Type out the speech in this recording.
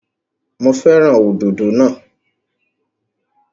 Mo fẹ́ràn òdòdó náà.